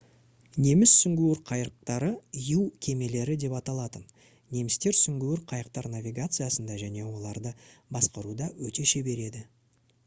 неміс сүңгуір қайықтары «u кемелері» деп аталатын. немістер сүңгуір қайықтар навигациясында және оларды басқаруда өте шебер еді